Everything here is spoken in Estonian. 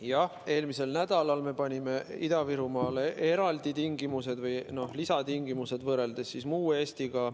Jah, eelmisel nädalal me kehtestasime Ida-Virumaale eraldi tingimused või lisatingimused võrreldes muu Eestiga.